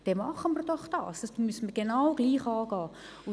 Das müssen wir genau gleich angehen.